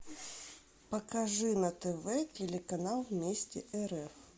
покажи на тв телеканал вместе рф